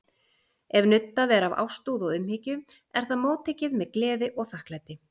Ef nuddað er af ástúð og umhyggju er það móttekið með gleði og þakklæti.